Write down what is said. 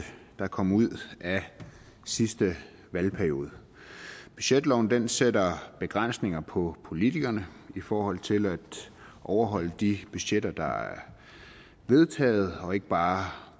der kom ud af sidste valgperiode budgetloven sætter begrænsninger på politikerne i forhold til at overholde de budgetter der er vedtaget og ikke bare